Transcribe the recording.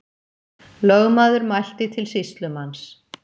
Lögmaður mælti til sýslumanns.